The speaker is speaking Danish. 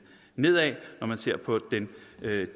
nedad når man ser på den